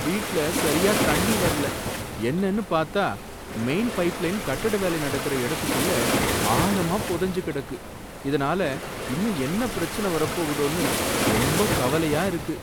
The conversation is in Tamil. வீட்ல சரியா தண்ணி வரல. என்னனு பாத்தா மெயின் பைப்லைன் கட்டட வேலை நடக்குற இடத்துக்குள்ள ஆழமா புதைஞ்சு கிடக்கு, இதனால இன்னும் என்ன பிரச்சன வரப் போகுதோன்னு ரொம்பக் கவலையா இருக்கு.